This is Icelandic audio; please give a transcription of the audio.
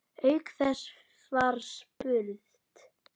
Auk þess var spurt